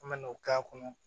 An me n'o k'a kɔnɔ